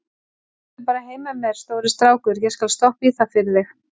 Komdu bara heim með mér, stóri strákur, ég skal stoppa í það fyrir þig.